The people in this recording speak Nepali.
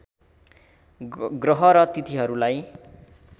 ग्रह र तिथिहरूलाई